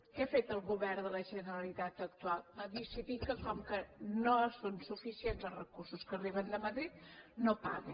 què ha fet el govern de la generalitat actual ha decidit que com que no són suficients els recursos que arriben de madrid no paga